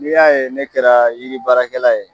N'i y'a ye ne kɛra yiri baara kɛla ye